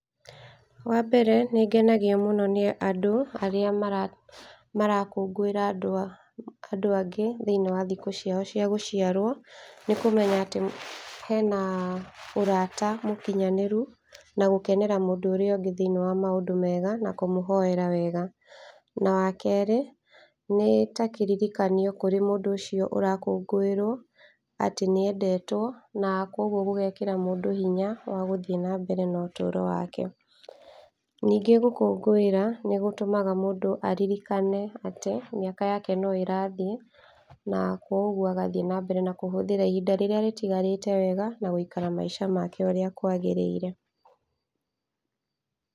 Wambere nĩngenagio nĩ andũ arĩa marakũngũĩra andũ angĩ thĩiniĩ wa thikũ ciao cia gũciarwo, nĩkũmenya atĩ hena ũrata mũkinyanĩru, na gũkenera mũndũ ũrĩa ũngĩ thĩiniĩ wa maũndũ mega na kũmũhoera wega. Na wa kerĩ, nĩtakĩririkanio kũrĩ mũndũ ũcio ũrakũngũĩrwo atĩ nĩendetwo, na koguo gũgekĩra mũndũ hinya wa gũthiĩ na mbere na ũtũro wake. Ningĩ gũkũngũĩra no gũtũmaga mũndũ aririkane atĩ mĩaka yake no ĩrathiĩ, na koguo agathiĩ na mbere na kũhũthĩra ihinda rĩrĩa rĩtigarĩte wega na gũikara maica make ũrĩa kwagĩrĩire.